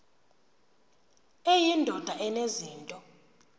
eyi ndoda enezinto